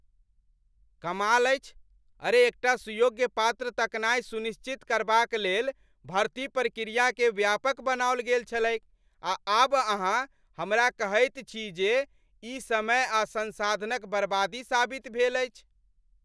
कमाल अछि, अरे एकटा सुयोग्य पात्र तकनाइ सुनिश्चित करबाक लेल भर्ती प्रक्रियाकेँ व्यापक बनाओल गेल छलैक आ आब अहाँ हमरा कहैत छी जे ई समय आ संसाधनक बर्बादी साबित भेल अछि।